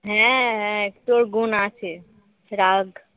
হ্যাঁ হ্যাঁ তোর গুন আছে সেই রাগ